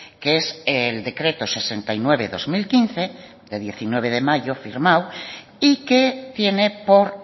que es el decreto sesenta y nueve barra dos mil quince de diecinueve de mayo firmado y que tiene por